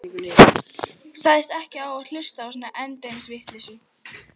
Sagðist ekki hlusta á svona endemis vitleysu.